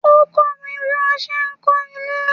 Ó kọ́ mi bí wọ́n ṣe ń kọ́ ilé.